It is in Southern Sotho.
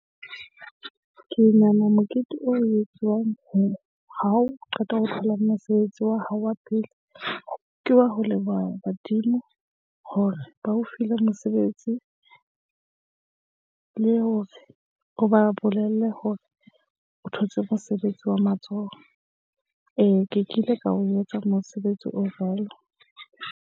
Ke nahana mokete o etsuwang ho ha o qeta ho thola mosebetsi wa hao wa pele, ke wa ho leboha badimo hore ba o file mosebetsi, le hore o ba bolelle hore o thotse mosebetsi wa matsoho. Ee, ke kile ka o etsa mosebetsi o jwalo.